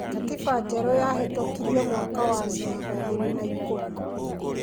Katiba njerũ yahetũkirio mwaka wa ngiri igĩrĩ na ikũmi